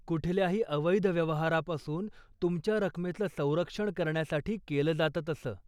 कुठल्याही अवैध व्यवहारापासून तुमच्या रकमेचं संरक्षण करण्यासाठी केलं जातं असं.